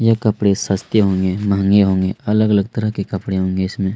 यह कपड़े सस्ते होंगे महंगे होंगे अलग-अलग तरह के कपड़े होंगे इसमें --